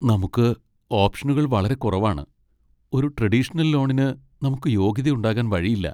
നമുക്ക് ഓപ്ഷനുകൾ വളരെ കുറവാണ് ! ഒരു ട്രെഡീഷണൽ ലോണിന് നമുക്ക് യോഗ്യത ഉണ്ടാകാൻ വഴിയില്ല .